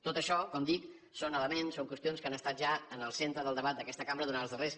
tot això com dic són elements són qüestions que han estat ja en el centre del debat d’aquesta cambra durant els darrers